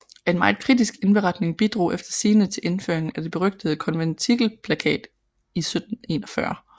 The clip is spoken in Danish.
En meget kritisk indberetning bidrog efter sigende til indføringen af det berygtede Konventikelplakat i 1741